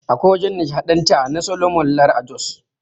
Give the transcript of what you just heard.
Akwai wajan nishaɗanta na Soloman Lar a Jos